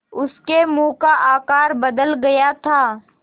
उसके मुँह का आकार बदल गया था